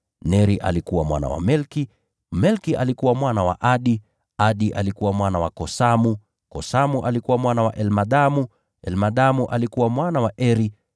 Neri alikuwa mwana wa Melki, Melki alikuwa mwana wa Adi, Adi alikuwa mwana wa Kosamu, Kosamu alikuwa mwana wa Elmadamu, Elmadamu alikuwa mwana wa Eri,